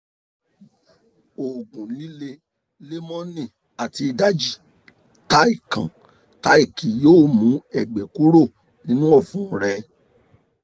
oògùn líle lẹ́mọnì àti ìdajì táì kan táìkì yóò mú ẹ̀gbẹ́ kúrò nínú ọ̀fun rẹ